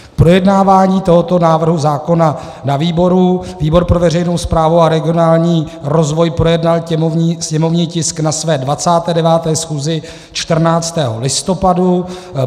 Projednávání tohoto návrhu zákona na výboru - výbor pro veřejnou správu a regionální rozvoj projednal sněmovní tisk na své 29. schůzi 14. listopadu.